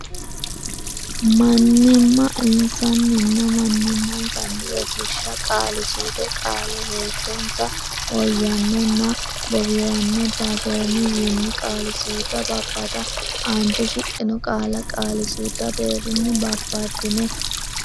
mann imma nsa nni nna mannimmansanninna Rosiishsha Qaali suude Qaale heeshsho nsa woyy anno nna bowr anno dag oom wii nni Qaali suude Babbada Aante shiqqino qaalla qaali suudu deerrinni babbaddine.